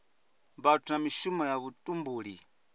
vhathu na mishumo ya vhutumbuli